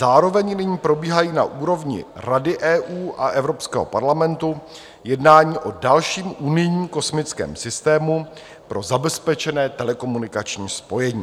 Zároveň nyní probíhají na úrovni Rady EU a Evropského parlamentu jednání o dalším unijním kosmickém systému pro zabezpečené telekomunikační spojení.